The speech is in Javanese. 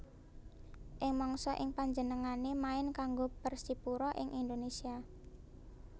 Ing mangsa ing panjenengané main kanggo Persipura ing Indonesia